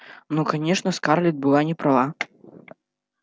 но конечно скарлетт была не права